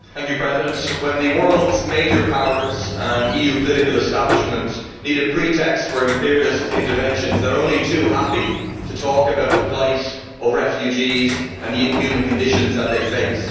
Mr President, when the world's major powers and EU political establishment need a pretext for imperialist interventions, they are only too happy to talk about the plight of refugees and the inhuman conditions that they face.